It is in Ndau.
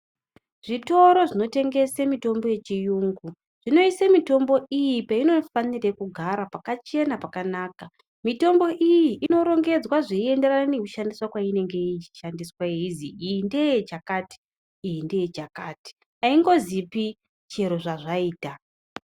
Zvitoro zvinotengesa mitombo yechirungu zvinosisa mitombo iyi painofanira kugara pakachena pakanaka mitombo iyi inorongedzwa painenge ichishandiswa ichinzi iyi ndeye chakati iyi ndeye chakati aingonzipi chero zvazvaita.